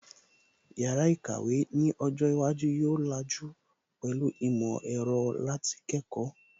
Yàrá ìkàwé ni ọjọ́ iwájú yóò làjú pẹ̀lú ìmọ̀ ẹ̀rọ láti kẹ́kọ̀ọ́